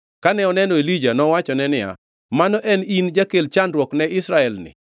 Kane oneno Elija, nowachone niya, “Mano en in, jakel chandruok ni Israel-ni?”